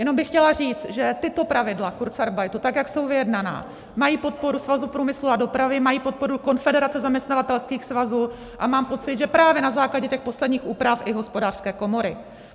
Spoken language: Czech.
Jenom bych chtěla říct, že tato pravidla kurzarbeitu, tak jak jsou vyjednaná, mají podporu Svazu průmyslu a dopravy, mají podporu Konfederace zaměstnavatelských svazů a mám pocit, že právě na základě těch posledních úprav i Hospodářské komory.